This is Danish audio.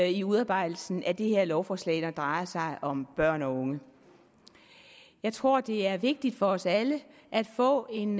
i udarbejdelsen af det her lovforslag når det drejer sig om børn og unge jeg tror det er vigtigt for os alle at få en